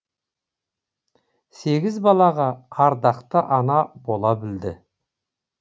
сегіз балаға ардақты ана бола білді